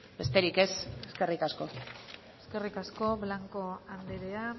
besterik ez eskerrik asko eskerrik asko blanco andrea